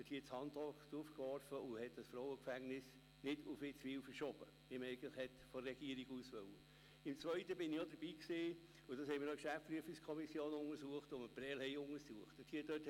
Als es darum gegangen war, das Frauengefängnis nach Witzwil zu verschieben, war auch sie es, die einen Bericht verlangte.